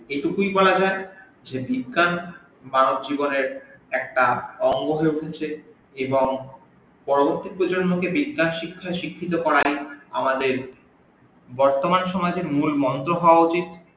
এইটুকুই বলা যাই যে বিজ্ঞান মানব জীবনের একটা অঙ্গ হয়ে উঠেছে এবং পরবর্তী প্রজন্মকে বিজ্ঞান শিক্ষায় শিক্ষিত করাই আমদের বর্তমান সমাজের মুল মন্ত্র হওয়া উচিত।